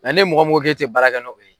n'e mɔgɔ mɔgɔ ko e tɛ baara kɛ nɔ ye.